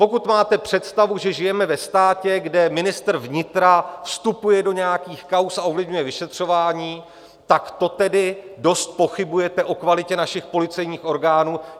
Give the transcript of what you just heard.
Pokud máte představu, že žijeme ve státě, kde ministr vnitra vstupuje do nějakých kauz a ovlivňuje vyšetřování, tak to tedy dost pochybujete o kvalitě našich policejních orgánů.